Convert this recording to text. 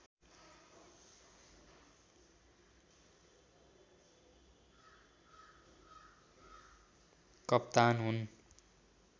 कप्तान हुन्